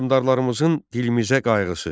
Hökmdarlarımızın dilimizə qayğısı.